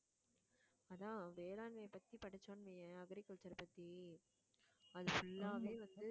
அதான், வேளாண்மையைப் பத்தி படிச்சோம்ன்னு வையேன் agriculture பத்தி அது full ஆவே வந்து